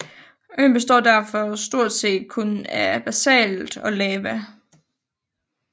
Øen består derfor stort set kun af basalt og lava